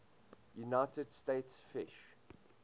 united states fish